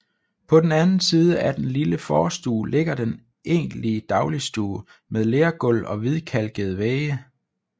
På den anden side af den lille forstue ligger den egentlige dagligstue med lergulv og hvidkalkede vægge